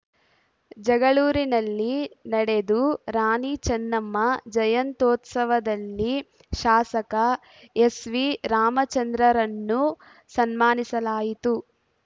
ಜಗಳೂರಿನಲ್ಲಿ ನಡೆದು ರಾಣಿ ಚೆನ್ನಮ್ಮ ಜಯಂತ್ಯೋತ್ಸವದಲ್ಲಿ ಶಾಸಕ ಎಸ್‌ವಿರಾಮಚಂದ್ರರನ್ನು ಸನ್ಮಾನಿಸಲಾಯಿತು